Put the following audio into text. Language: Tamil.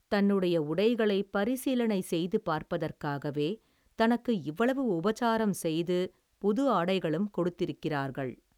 தன்னுடைய உடைகளைப் பரிசீலனை செய்து பார்ப்பதற்காகவே தனக்கு இவ்வளவு உபசாரம் செய்து புது ஆடைகளும் கொடுத்திருக்கிறார்கள்.